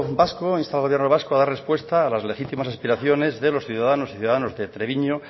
vasco insta al gobierno vasco a dar respuesta a las legítimas aspiraciones de los ciudadanas y ciudadanos de treviño